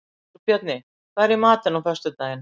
Þórbjarni, hvað er í matinn á föstudaginn?